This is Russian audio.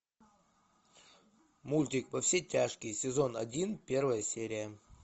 мультик во все тяжкие сезон один первая серия